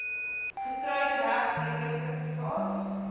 getroud heg huweliksertifikaat